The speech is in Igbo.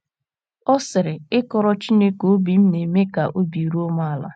Ọ sịrị: “ Ịkọrọ Chineke obi m na - eme ka obi ruo m ala.